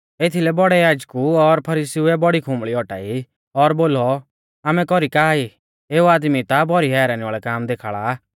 एथीलै बौड़ै याजकु और फरीसीउऐ बौड़ी खुंबल़ी औटाई और बोलौ आमै कौरी का ई एऊ आदमी ता भौरी हैरानी वाल़ै काम देखाल़ा आ